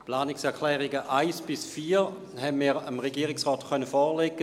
Wir konnten dem Regierungsrat die Planungserklärungen 1 bis 4 vorlegen.